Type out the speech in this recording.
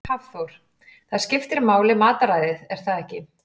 Hafþór: Það skiptir máli matarræðið er það ekki?